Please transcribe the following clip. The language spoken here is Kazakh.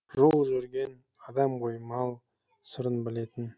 жол жүрген адам ғой мал сырын білетін